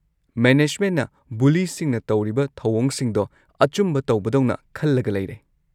ꯃꯦꯅꯦꯖꯃꯦꯟꯠꯅ ꯕꯨꯂꯤꯁꯤꯡꯅ ꯇꯧꯔꯤꯕ ꯊꯧꯑꯣꯡꯁꯤꯡꯗꯣ ꯑꯆꯨꯝꯕ ꯇꯧꯕꯗꯧꯅ ꯈꯜꯂꯒ ꯂꯩꯔꯦ꯫